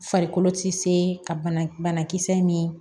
Farikolo ti se ka banakisɛ ni